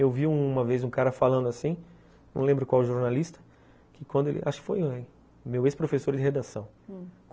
Eu vi uma vez um cara falando assim, não lembro qual jornalista, que quando, acho que foi o meu ex-professor de redação, hum